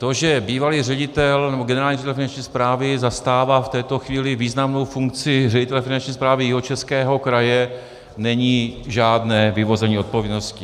To, že bývalý ředitel, nebo generální ředitel Finanční správy zastává v této chvíli významnou funkci ředitele Finanční správy Jihočeského kraje, není žádné vyvození odpovědnosti.